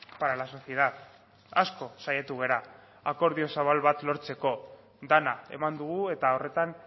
para la sociedad asko saiatu gara akordio zabal bat lortzeko dena eman dugu eta horretan